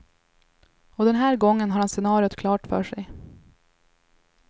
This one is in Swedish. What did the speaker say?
Och den här gången har han scenariot klart för sig.